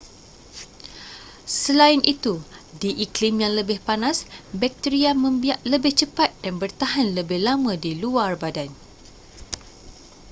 selain itu di iklim yang lebih panas bakteria membiak lebih cepat dan bertahan lebih lama di luar badan